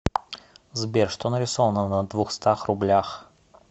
сбер что нарисовано на двухстах рублях